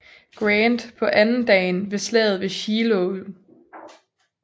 Grant på andendagen af Slaget ved Shiloh